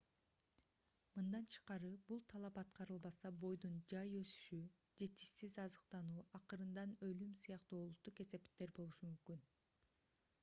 мындан тышкары бул талап аткарылбаса бойдун жай өсүшү жетишсиз азыктануу акырында өлүм сыяктуу олуттуу кесепеттер болушу мүмкүн